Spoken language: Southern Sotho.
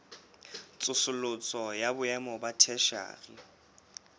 tsosoloso ya boemo ba theshiari